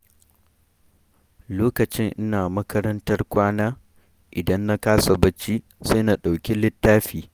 Lokacin ina makarantar kwana idan na kasa bacci, sai na ɗauki littafi.